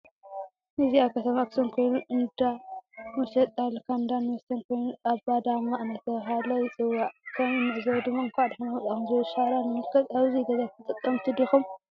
እዚ አብ ከተማ አክሱም ኮይኑ እንዳ መሽጣ ልካንዳን መስተን ኮይኑ አባዳማ እናተብህለ ይፀዋዕ። ከም እንዕዞቦ ድማ እንዕ ዳሓን መፃኩም ዝብል ሻራ ንምልከት አብዚ ገዛ ተጠቀምቲ ዲኩም?